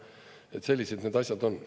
Et sellised need asjad on.